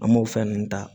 An m'o fɛn ninnu ta